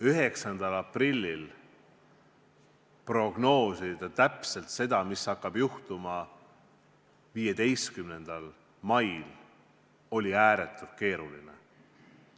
9. aprillil prognoosida täpselt seda, mis hakkab juhtuma 15. mail, oli ääretult keeruline.